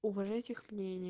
уважаю этих